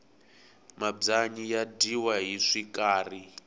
mabyanyi ya dyiwa hi swikari